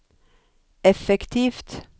effektivt